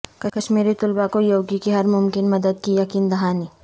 کشمیری طلبہ کو یوگی کی ہرممکن مددکی یقین دہانی